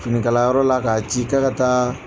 Finikala yɔrɔ la k'a ci k'a ka taa